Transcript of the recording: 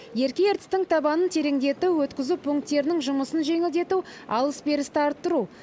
ерке ертістің табанын тереңдету өткізу пунктерінің жұмысын жеңілдету алыс берісті арттыру